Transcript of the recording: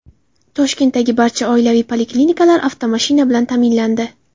Toshkentdagi barcha oilaviy poliklinikalar avtomashina bilan ta’minlandi.